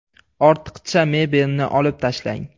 Ortiqcha mebel ni olib tashlang .